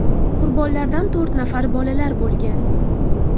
Qurbonlardan to‘rt nafari bolalar bo‘lgan.